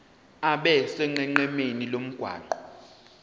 abe sonqenqemeni lomgwaqo